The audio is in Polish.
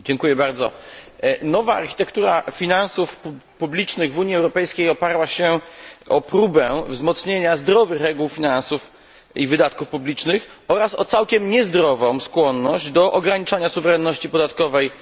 Nowa architektura finansów publicznych w Unii Europejskiej oparła się o próbę wzmocnienia zdrowych reguł finansów i wydatków publicznych oraz o całkiem niezdrową skłonność do ograniczania suwerenności podatkowej państw członkowskich.